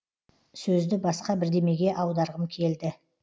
сөзді басқа бірдемеге аударғым келді